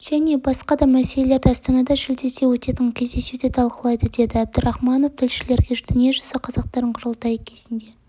және басқа да мәселелерді астанада шілдеде өтетін кездесуде талқылайды деді әбдірахманов тілшілерге дүниежүзі қазақтарының құрылтайы кезінде